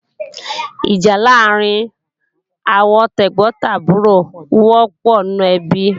Ìjà láàrín àwọn tẹ̀gbọ́n tàbúrò wọ́pọ̀ nínú ẹbí